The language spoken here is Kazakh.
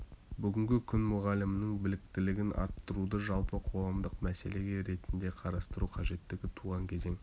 бүгінгі күн мұғалімнің біліктілігін арттыруды жалпы қоғамдық мәселе ретінде қарастыру қажеттігі туған кезең